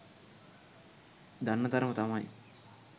දන්න තරම තමයි.